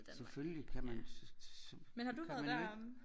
Selvfølgelig kan man så kan man jo ikke